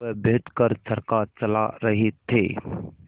वह बैठ कर चरखा चला रहे थे